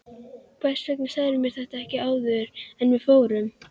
Hvers vegna sagðirðu mér þetta ekki áður en við fórum?